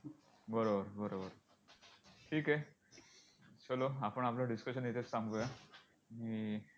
बरोबर बरोबर ठीक आहे. चलो आपण आपलं discussion इथेच थांबवूया आणि